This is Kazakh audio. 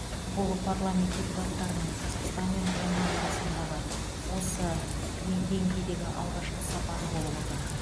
бұл парламент депутаттарының қазақстан мен оман арасындағы осы деңгейдегі алғашқы сапары болып отыр